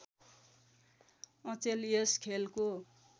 अचेल यस खेलको